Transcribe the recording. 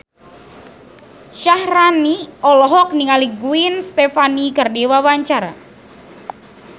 Syaharani olohok ningali Gwen Stefani keur diwawancara